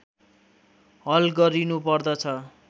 हल गरिनुपर्दछ